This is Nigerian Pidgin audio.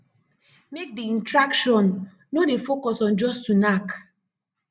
make di intraction no dey focus on just to knack